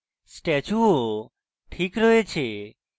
statue ও ঠিক রয়েছে